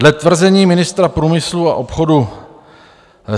Dle tvrzení ministra průmyslu a obchodu